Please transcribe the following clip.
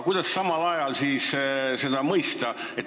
Kuidas seda kõike mõista?